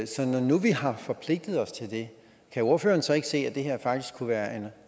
så når nu vi har forpligtet os til det kan ordføreren så ikke se at det her faktisk kunne være